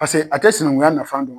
Pase a tɛ sinankunya nafa don.